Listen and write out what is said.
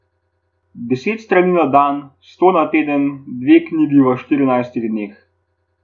Deset strani na dan, sto na teden, dve knjigi v štirinajstih dneh.